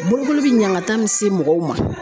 Bolokoli bi ɲangata min se mɔgɔw ma